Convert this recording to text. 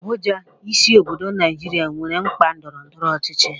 Abuja, isi obodo Naijiria, nwere mkpa ndọrọ ndọrọ ọchịchị.